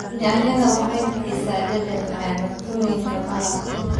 Yaanyada waxay bixisaa dhadhan macaan cuntooyinka maraq.